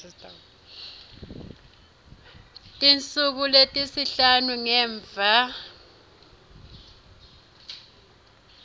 tinsuku letisihlanu ngemva